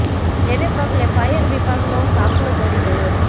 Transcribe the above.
જેને પગલે ફાયર વિભાગનો કાફલો દોડી ગયો હતો